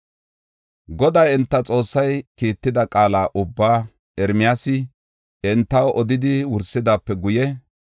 Goday enta Xoossay kiitida qaala ubbaa Ermiyaasi entaw odidi wursidaape guye,